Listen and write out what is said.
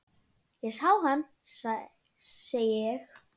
Ég sá hana, segi ég.